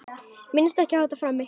Minnist ekki á þetta framar.